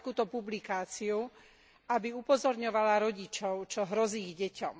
som takúto publikáciu, aby upozorňovala rodičov, čo hrozí ich deťom.